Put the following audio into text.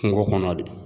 Kungo kɔnɔ de